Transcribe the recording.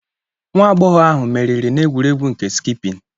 Nwa agbọghọ ahụ meriri n'egwuregwu nke skịipin.